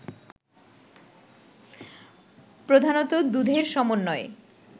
প্রধানত দুধের সমন্বয়ে